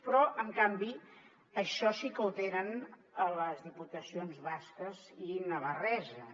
però en canvi això sí que ho tenen a les diputacions basques i navarreses